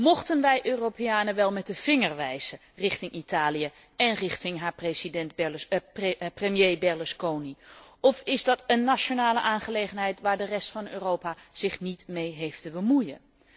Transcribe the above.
Mochten wij Europeanen wel met de vinger wijzen richting Italië en richting haar premier Berlusconi, of is dat een nationale aangelegenheid waar de rest van Europa zich niet mee heeft te bemoeien?